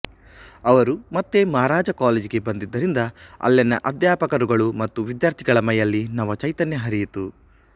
ಅವರು ಮತ್ತೆ ಮಹಾರಾಜ ಕಾಲೇಜಿಗೆ ಬಂದಿದ್ದರಿಂದ ಅಲ್ಲಿನ ಅಧ್ಯಾಪಕರುಗಳು ಮತ್ತು ವಿದ್ಯಾರ್ಥಿಗಳ ಮೈಯಲ್ಲಿ ನವಚೈತನ್ಯ ಹರಿಯಿತು